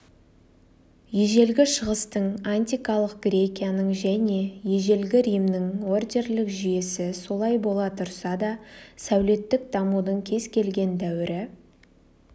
ежелгі шығыстың антикалық грекияның және ежелгі римнің ордерлік жүйесі солай бола тұрса да сәулеттік дамудың кез келген дәуірі